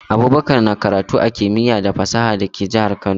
Abubakar na karatu a Kimiya da fasaha da ke jahar Kano